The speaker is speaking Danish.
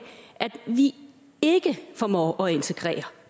vi ikke formår at integrere